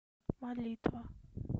молитва